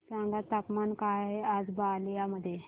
सांगा तापमान काय आहे आज बलिया मध्ये